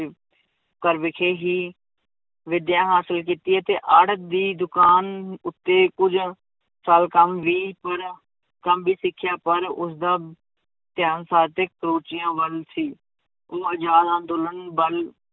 ਘਰ ਵਿਖੇ ਹੀ ਵਿਦਿਆ ਹਾਸਿਲ ਕੀਤੀ ਹੈ ਅਤੇ ਆੜਤ ਦੀ ਦੁਕਾਨ ਉੱਤੇ ਕੁੱਝ ਸਾਲ ਕੰਮ ਵੀ ਕਰਿਆ, ਕੰਮ ਵੀ ਸਿੱਖਿਆ, ਪਰ ਉਸਦਾ ਧਿਆਨ ਸਾਹਿਤਿਕ ਰੁਚੀਆਂ ਵੱਲ ਸੀ, ਉਹ ਆਜ਼ਾਦ ਅੰਦੋਲਨ ਵੱਲ